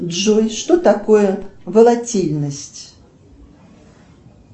джой что такое волатильность